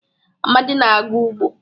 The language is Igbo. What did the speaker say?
Amadi na-aga ugbo.